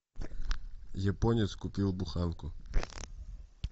японец купил буханку